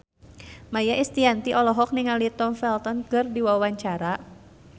Maia Estianty olohok ningali Tom Felton keur diwawancara